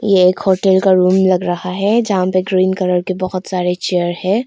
एक होटल का रूम लग रहा है जहां पे ग्रीन कलर के बहुत सारे चेयर है।